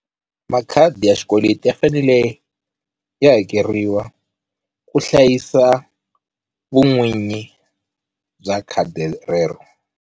Makhadi ya xikweleti ya fanele ya hakeriwa ku hlayisa vun'winyi bya khadi rero.